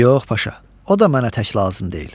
Yox, Paşa, o da mənə tək lazım deyil.